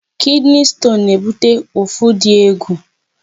Kidney stone na-ebute ụfụ dị egwu.